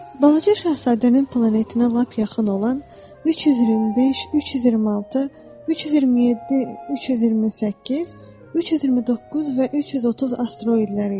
Balaca Şahzadənin planetinə lap yaxın olan 325, 326, 327, 328, 329 və 330 asteroidləri idi.